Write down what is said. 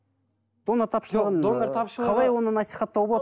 донор тапшылығын қалай оны насихаттауға болады